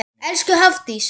Elsku Hafdís.